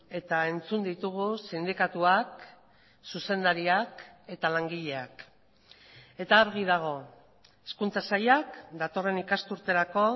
eta entzun ditugu sindikatuak zuzendariak eta langileak eta argi dago hezkuntza sailak datorren ikasturterako